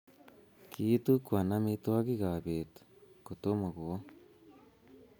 kiitukwan amitwogikab beet kotomo kowo